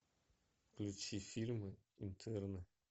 включи фильмы интерны